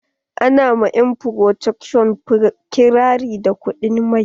Ana ma 'yan porthacurt ƙirari da kuɗin mai.